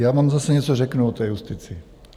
Já vám zase něco řeknu o té justici.